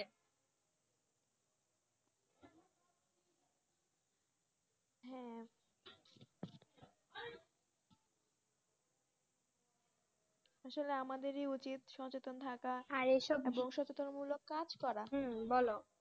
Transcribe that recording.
আসলে আমাদেরই উচিত সচেতন থাকা আর সচেতন মূলক কাজ করা,